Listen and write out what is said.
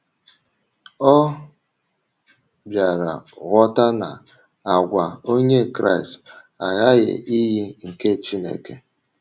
Ọ bịara ghọta na àgwà Onye Kraịst aghaghị iyi nke Chineke.